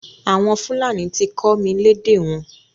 Àwọn Fúlàní ti kọ́ mi lédè wọn.